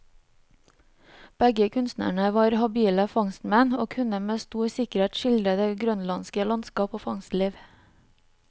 Begge kunstnerne var habile fangstmenn, og kunne med stor sikkerhet skildre det grønlandske landskap og fangstliv.